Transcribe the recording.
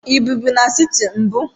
Ị ebibu n'siti mbu?